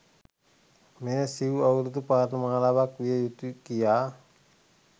මෙය සිව් අවුරුදු පාඨමාලාවක් විය යුතුය කියා